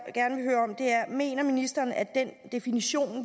mener ministeren at den definition